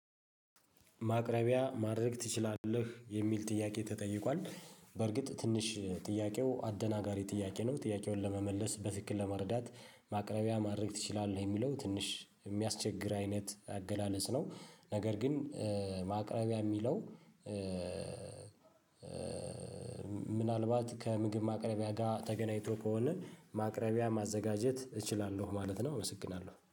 ማቅረቢያ ማድረግ ትችላለህ የሚል ጥያቄ ተጠይቋል በርግጥ ትንሽ ጥያቄው አደናጋሪ ጥያቄ ነው ጥያቄውን ለመመለስ በትክክል ለመረዳት ማቅረቢያ ማድረግ ትችላለህ የሚለው ትንሽ የሚያስቸግር አይነት አገላለጽ ነው። ነገር ግን ማቅረቢያ የሚለው ምናልባት ከምግብ ማቅረቢያ ጋር ተገናኝቶ ከሆነ ማቅረቢያ ማዘጋጀት እችላለሁ ማለት ነው። እመስግናለሁ